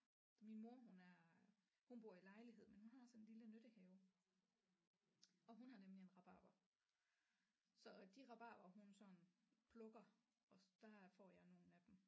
Min mor hun er hun bor i lejlighed men hun har sådan en lille nyttehave og hun har nemlig en rabarber så de rabarber hun sådan plukker også der får jeg nogle af dem